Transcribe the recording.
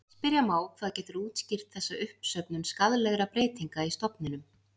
Spyrja má hvað getur útskýrt þessa uppsöfnun skaðlegra breytinga í stofninum.